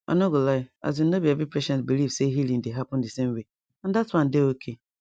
i no go lie asin no be every patient believe say healing dey happen di same way and that one dey okay